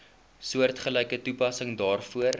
soortgelyke toepassing daarvoor